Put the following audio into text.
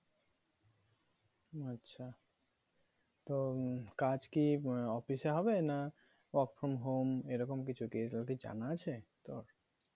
আচ্ছা তো কাজ কি office এ হবে না work from home এরকম কিছু কি তোর কি জানা আছে তোর?